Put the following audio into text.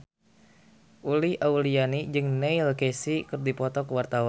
Uli Auliani jeung Neil Casey keur dipoto ku wartawan